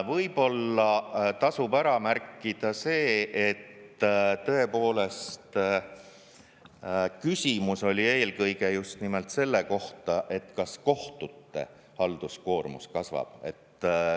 Võib-olla tasub ära märkida see, et tõepoolest, küsimus oli eelkõige just nimelt selle kohta, kas kohtute halduskoormus kasvab.